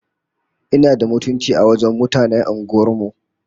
Ina da mutunci a wajen mutanen unguwar mu!